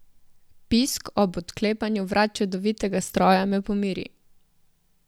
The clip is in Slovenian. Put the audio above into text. Pisk ob odklepanju vrat čudovitega stroja me pomiri.